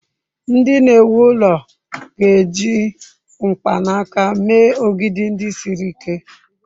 Ndị na-ewu ụlọ ga-eji mkpanaka mee ogidi ndị siri ike.